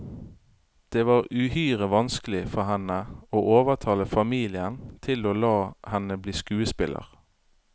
Det var uhyre vanskelig for henne å overtale familien til å la henne bli skuespiller.